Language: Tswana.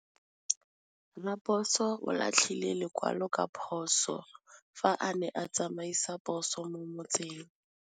Raposo o latlhie lekwalô ka phosô fa a ne a tsamaisa poso mo motseng.